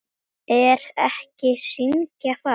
Er hægt að syngja falskt?